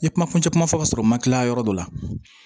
I kuma kuncɛ kuma fɔ ka sɔrɔ u ma kilan yɔrɔ dɔ la